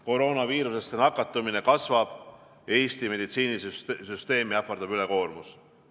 Koroonaviirusesse nakatumine kasvab ja Eesti meditsiinisüsteemi ähvardab ülekoormus.